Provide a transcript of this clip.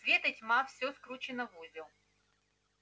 свет и тьма все скручено в узел